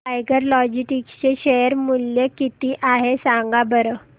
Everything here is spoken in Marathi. टायगर लॉजिस्टिक्स चे शेअर मूल्य किती आहे सांगा बरं